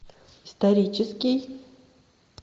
исторический